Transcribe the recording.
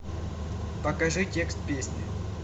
покажи текст песни